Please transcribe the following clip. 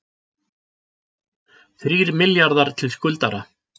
Þrír milljarðar til skuldara